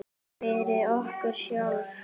Fyrir okkur sjálf.